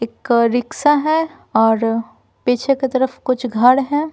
एक रिक्शा है और पीछे की तरफ कुछ घर है।